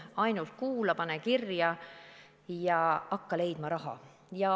Ainult kuula, pane kirja ja hakka leidma raha.